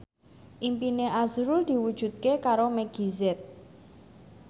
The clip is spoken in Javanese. impine azrul diwujudke karo Meggie Z